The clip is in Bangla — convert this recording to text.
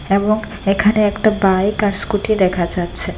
এবং এখানে একটা বাইক আর স্কুটি দেখা যাচ্ছে।